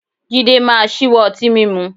Jídé máa ṣíwọ́ ọtí mímú